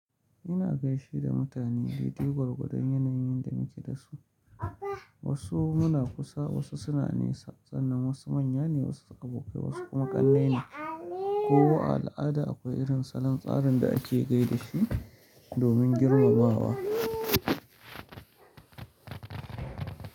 Ina gaishe da mutane dai dai gwargwadon yanayin da muke dasu. Wasu muna kusa, wasu suna nesa sannan, wasu manya ne, wasu abokai wasu kuma ƙannai ne. Kowa a al'ada akwai irin salon tsarin da ake gaida shi domin girmamawa.